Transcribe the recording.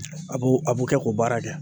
A b'o a b'o kɛ k'o baara kɛ.